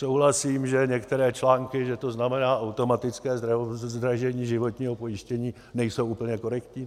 Souhlasím, že některé články, že to znamená automatické zdražení životního pojištění, nejsou úplně korektní.